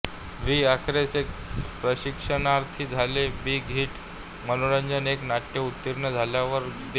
V अखेरीस एक प्रशिक्षणार्थी झाले बिग हिट मनोरंजन एक नट उत्तीर्ण झाल्यावर देगू